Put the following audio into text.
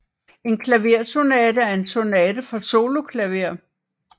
En klaversonate er en sonate for soloklaver